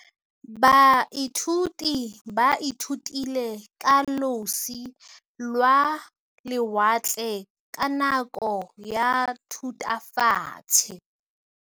Baithuti ba ithutile ka losi lwa lewatle ka nako ya Thutafatshe.